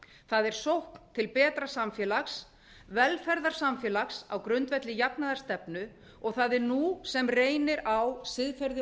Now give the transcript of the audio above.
það er sókn til betra samfélags velferðarsamfélags á grundvelli jafnaðarstefnu og það er nú sem reynir á siðferði